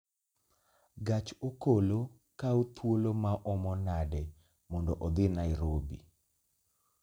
Gach okolo kawo thuolo maomo nade mondo odhi Nairobi